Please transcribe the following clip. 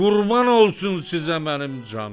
Qurban olsun sizə mənim canım.